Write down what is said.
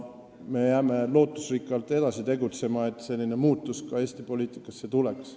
Me jääme lootusrikkalt edasi tegutsema selle nimel, et selline muutus Eesti poliitikas tuleks.